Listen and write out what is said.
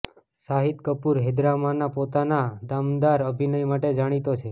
શાહિદ કપૂર હૈદરમાંના પોતાના દમદાર અભિનય માટે જાણિતો છે